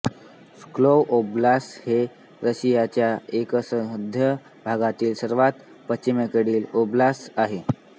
Pskov Oblast हे रशियाच्या एकसंध भागातील सर्वात पश्चिमेकडील ओब्लास्त आहे